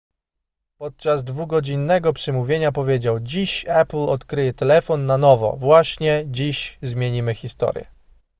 podczas dwugodzinnego przemówienia powiedział dziś apple odkryje telefon na nowo właśnie dziś zmienimy historię